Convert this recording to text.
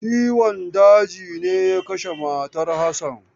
Ciwon daji ne ya kashe matar Hassan.